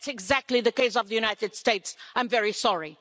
That's exactly the case of the United States, I'm very sorry.